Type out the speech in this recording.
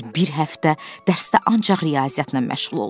Düz bir həftə dərsdə ancaq riyaziyyatla məşğul olduq.